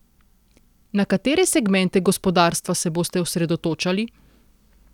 Na katere segmente gospodarstva se boste osredotočali?